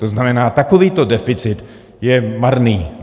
To znamená, takovýto deficit je marný.